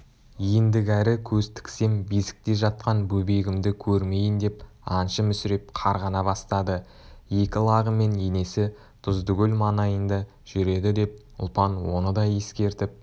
ендігәрі көз тіксем бесікте жатқан бөбегімді көрмейін деп аңшы мүсіреп қарғана бастады екі лағы мен енесі тұздыкөл маңайында жүреді деп ұлпан оны да ескертіп